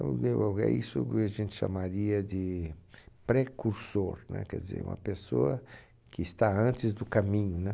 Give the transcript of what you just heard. é isso que a gente chamaria de precursor, né? Quer dizer, uma pessoa que está antes do caminho, né?